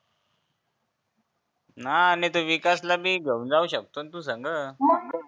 मह नाही त त्या विकासल भी घेऊन जाऊ शकतो न तू संग